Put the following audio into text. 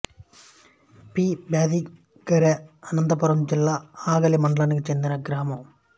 P Byadigera Anantapuram జిల్లా ఆగలి మండలానికి చెందిన గ్రామం